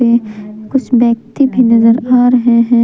ये कुछ व्यक्ति भी नजर आ रहे है।